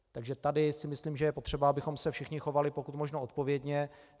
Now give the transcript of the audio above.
Takže tady si myslím, že je potřeba, abychom se všichni chovali pokud možno odpovědně.